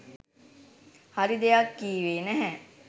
හරි දෙයක් කීවේ නැහැ.